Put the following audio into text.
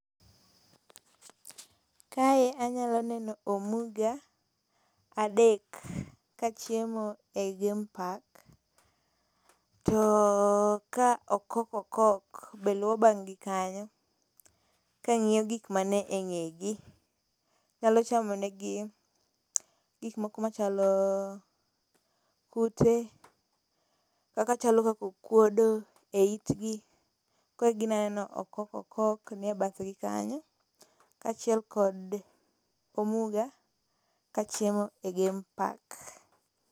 kae anyalo neno omuga adek ka chiemo e game park to ka okok okok be luwo bang gi kanyo ka ngiyo gik manie ngegi, nyalo chamonegi gik moko machalo kute, machalo kaka okuodo e itgi koro gineno okok okok nie bathgi kanyo kachiel kod omuga ka chiemo e game park